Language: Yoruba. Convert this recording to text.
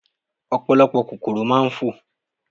Ọ̀pọ̀lọpọ̀ kòkòrò máa ń fò.